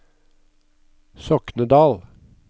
Soknedal